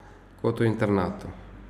Kot v internatu.